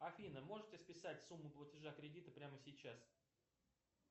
афина можете списать сумму платежа кредита прямо сейчас